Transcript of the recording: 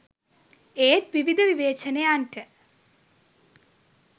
ඒත් විවිධ විවේචනයන්ට